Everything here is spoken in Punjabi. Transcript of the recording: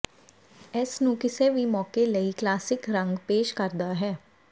ਇਸ ਨੂੰ ਕਿਸੇ ਵੀ ਮੌਕੇ ਲਈ ਕਲਾਸਿਕ ਰੰਗ ਪੇਸ਼ ਕਰਦਾ ਹੈ